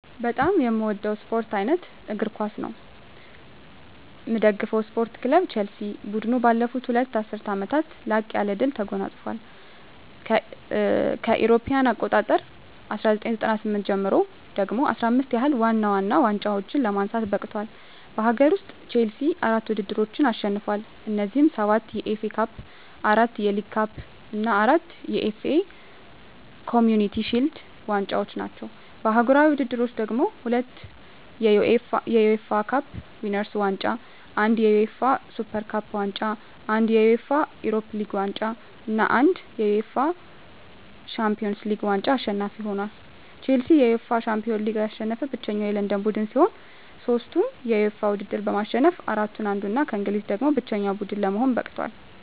በጣም ምወደው ስፓርት አይነት እግር ኳስ ነው። ምደግፈው ስፓርት ክለብ ቸልሲ። ቡድኑ ባለፉት ሁለት ዐሥርት ዓመታት ላቅ ያለ ድል ተጎናጽፏል። ከእ.ኤ.አ 1997 ጀምሮ ደግሞ 15 ያህል ዋና ዋና ዋንጫዎችን ለማንሳት በቅቷል። በአገር ውስጥ፣ ቼልሲ አራት ውድድሮችን አሸንፏል። እነዚህም፤ ሰባት የኤፍ ኤ ካፕ፣ አራት የሊግ ካፕ እና አራት የኤፍ ኤ ኮምዩኒቲ ሺልድ ዋንጫዎች ናቸው። በአህጉራዊ ውድድሮች ደግሞ፤ ሁለት የዩኤፋ ካፕ ዊነርስ ዋንጫ፣ አንድ የዩኤፋ ሱፐር ካፕ ዋንጫ፣ አንድ የዩኤፋ ዩሮፓ ሊግ ዋንጫ እና አንድ የዩኤፋ ሻምፒዮንስ ሊግ ዋንጫ አሸናፊ ሆኖአል። ቼልሲ የዩኤፋ ሻምፒዮንስ ሊግን ያሸነፈ ብቸኛው የለንደን ቡድን ሲሆን፣ ሦስቱንም የዩኤፋ ውድድሮች በማሸነፍ ከአራቱ አንዱ እና ከእንግሊዝ ደግሞ ብቸኛው ቡድን ለመሆን በቅቷል።